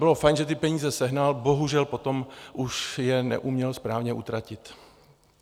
Bylo fajn, že ty peníze sehnal, bohužel potom už je neuměl správně utratit.